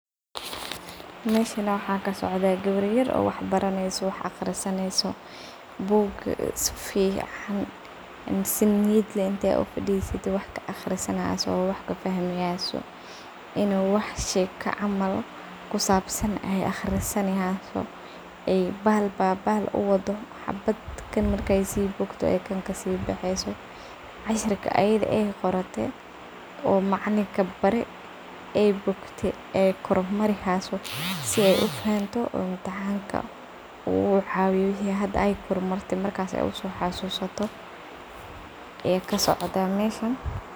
Meshan waxa kasocda gabar yaar oo waxa baraneyso oo waxa aqrisanayso book safican an sa niyiid leh intay ufadisate wax ka aqrisanyso oo wax kafahmihayso, inu wax sheeko camal kusabsan ay aqrisanihyso ay bal ba bal uwado xabat kaan markay sii bogto ay kaan kasibaxayso cashirkii ayadha ay qorote oo macalinka baare ay bogte ay koor marihayso sii ay ufahamto oo imtixanka oo ucawiyo waxay hada ay kormate ay usoxasusato ayaa kasocda meshan .